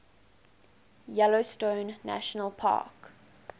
yellowstone national park